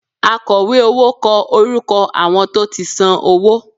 Àkọ̀wé owó kọ orúkọ àwọn tó ti san owó